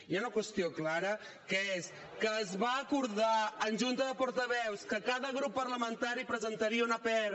hi ha una qüestió clara que és que es va acordar en junta de portaveus que cada grup parlamentari presentaria una pr